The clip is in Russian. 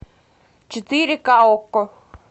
четыре ка окко